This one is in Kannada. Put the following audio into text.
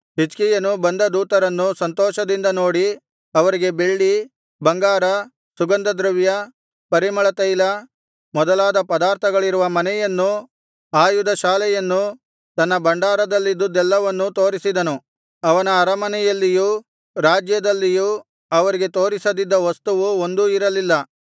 ಹಿಜ್ಕೀಯನು ಬಂದ ದೂತರನ್ನು ಸಂತೋಷದಿಂದ ನೋಡಿ ಅವರಿಗೆ ಬೆಳ್ಳಿ ಬಂಗಾರ ಸುಗಂಧದ್ರವ್ಯ ಪರಿಮಳತೈಲ ಮೊದಲಾದ ಪದಾರ್ಥಗಳಿರುವ ಮನೆಯನ್ನೂ ಆಯುಧಶಾಲೆಯನ್ನೂ ತನ್ನ ಭಂಡಾರದಲ್ಲಿದುದ್ದೆಲ್ಲವನ್ನೂ ತೋರಿಸಿದನು ಅವನ ಅರಮನೆಯಲ್ಲಿಯೂ ರಾಜ್ಯದಲ್ಲಿಯೂ ಅವರಿಗೆ ತೋರಿಸದಿದ್ದ ವಸ್ತುವು ಒಂದೂ ಇರಲಿಲ್ಲ